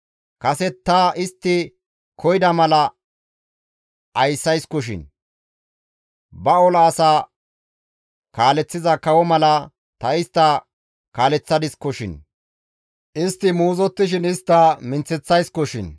Kase ta istti koyida mala ayssayskoshin; ba ola asa kaaleththiza kawo mala ta istta kaaleththadiskoshin; istti muuzottishin tani istta minththeththayssikoshin.